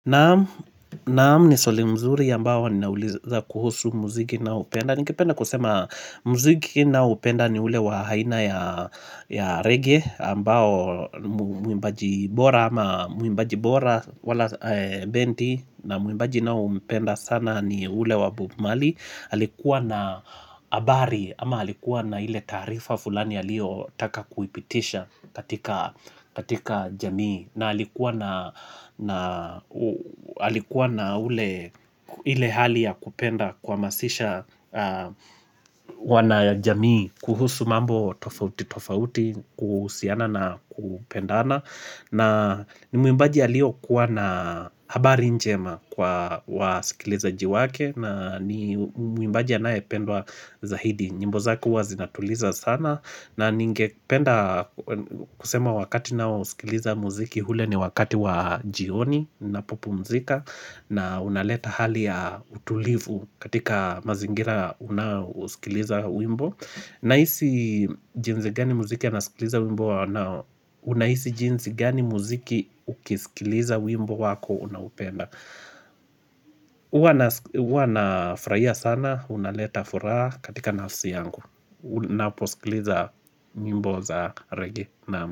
Naam ni swali mzuri ambao ninauliza kuhusu muziki naoupenda Ningependa kusema muziki ninaoupenda ni ule wa haina ya reggae ambao muimbaji bora ama muimbaji bora wala benti na muimbaji naoumpenda sana ni ule wa bob marley. Aalikuwa na habari ama alikuwa na ile taarifa fulani aliyotaka kuipitisha katika jamii na alikuwa na ule hali ya kupenda kuhamasisha wanajamii kuhusu mambo tofauti tofauti kuhusiana na kupendana na ni muimbaji alio kuwa na habari njema kwa wasikilizaji wake na ni muimbaji anayependwa zaidi nyimbo zake huwa zinatuliza sana na ningependa kusema wakati naousikiliza muziki ule ni wakati wa jioni ninapopumzika na unaleta hali ya utulivu katika mazingira unayosikiliza wimbo Nahisi jinsi gani muziki anasikiliza wimbo na unahisi jinsi gani muziki ukisikiliza wimbo wako unaoupenda Uwa nafurahia sana, unaleta furaha katika nafsi yangu unaposikiliza nyimbo za rege naam.